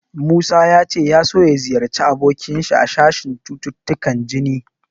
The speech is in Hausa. Musa ya ce ya so ya ziyarci abokinsa a sashen cututtukan jini.